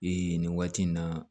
Ee nin waati in na